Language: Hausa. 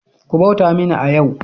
Ku bauta mini a yau!